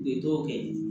U ye dɔw kɛ ye